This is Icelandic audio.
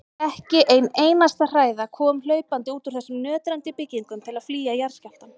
Ekki ein einasta hræða kom hlaupandi út úr þessum nötrandi byggingum til að flýja jarðskjálftann.